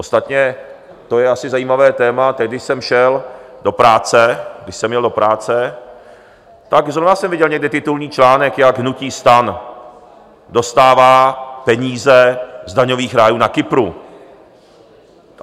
Ostatně to je asi zajímavé téma, teď když jsem šel do práce, když jsem jel do práce, tak zrovna jsem viděl někde titulní článek, jak hnutí STAN dostává peníze z daňových rájů na Kypru.